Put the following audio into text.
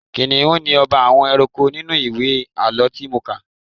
Kìnnìún ni ọba àwọn ẹranko nínú ìwé àlọ́ tí mo kà.